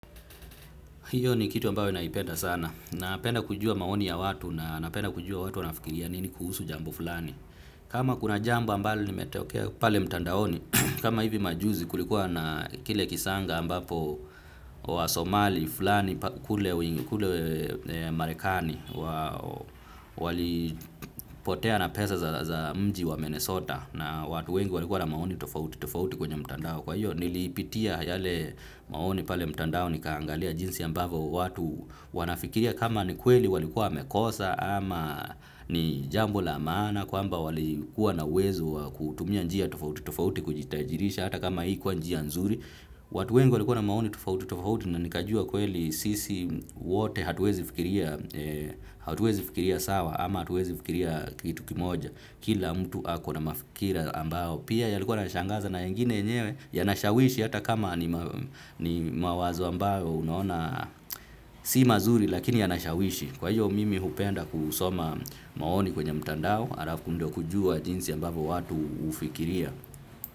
Hiyo ni kitu ambayo naipenda sana. Napenda kujua maoni ya watu na napenda kujua watu wanafikiria nini kuhusu jambo fulani. Kama kuna jambo ambalo limetokea pale mtandaoni. Kama hivi majuzi kulikuwa na kile kisanga ambapo wa Somali fulani kule marekani walipotea na pesa za mji wa Minnesota na watu wengi walikuwa na maoni tofauti kwenye mtandao. Kwa hiyo niliipitia yale maoni pale mtandao nikaangalia jinsi ambavo watu wanafikiria kama ni kweli walikuwa wamekosa ama ni jambo la maana kwamba walikuwa na uwezo kutumia njia tofauti tofauti kujitajirisha hata kama haikuwa njia nzuri. Watu wengu walikuwa na maoni tofauti tofauti na nikajua kweli sisi wote hatuwezi fikiria sawa ama hatuwezi fikiria kitu kimoja. Kila mtu ako na mafikira ambao pia yalikuwa yanashangaza na yengine yenyewe yanashawishi hata kama ni mawazo ambayo unaona si mazuri lakini yanashawishi. Kwa hiyo mimi hupenda kusoma maoni kwenye mtandao alafu ndio kujua jinsi ambapo watu hyfikiria.